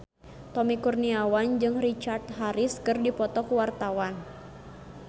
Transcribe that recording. Tommy Kurniawan jeung Richard Harris keur dipoto ku wartawan